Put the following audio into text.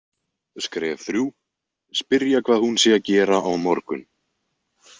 Skref þrjú: Spyrja hvað hún sé að gera á morgun.